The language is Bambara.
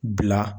Bila